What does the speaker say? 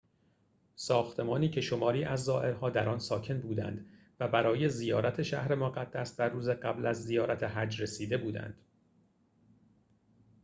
ساختمانی که شماری از زائرها در آن ساکن بودند و برای زیارت شهر مقدس در روز قبل از زیارت حج رسیده بودند